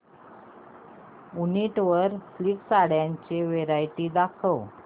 वूनिक वर सिल्क साड्यांची वरायटी दाखव